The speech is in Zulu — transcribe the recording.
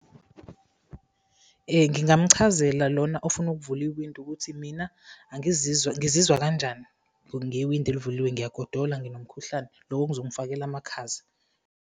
Ngingamchazela lona ofuna ukuvula iwindi, ukuthi mina ngizizwa kanjani ngewindi elivuliwe, ngiyagodola, nginomkhuhlane, lokhu kuzongifakela amakhaza.